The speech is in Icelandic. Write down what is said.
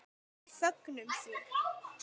Við fögnum því.